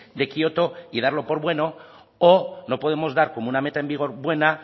de kioto y darlo por bueno o no podemos dar como una meta en vigor buena